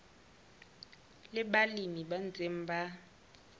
le balemi ba ntseng ba